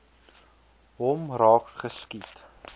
hom raak geskiet